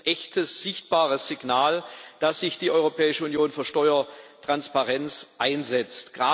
Das ist ein echtes, sichtbares Signal, dass sich die Europäische Union für Steuertransparenz einsetzt.